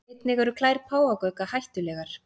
Einnig eru klær páfagauka hættulegar.